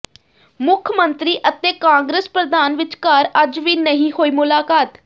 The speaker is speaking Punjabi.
ਮੁੱਖ ਮੰਤਰੀ ਅਤੇ ਕਾਂਗਰਸ ਪ੍ਰਧਾਨ ਵਿਚਕਾਰ ਅੱਜ ਵੀ ਨਹੀਂ ਹੋਈ ਮੁਲਾਕਾਤ